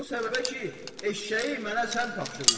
O səbəbə ki, eşşəyi mənə sən tapşırmısan.